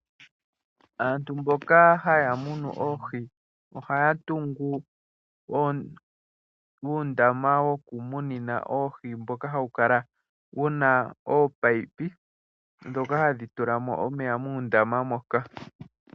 Aantu mboka haya munu oohi ohaya tungu uundama wokumunina oohi, mboka hawu kala wuna oopayipi dhoka hadhi tula mo omeya muundama moka.